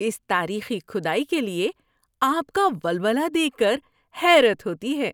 اس تاریخی کھدائی کے لیے آپ کا ولولہ دیکھ کر حیرت ہوتی ہے!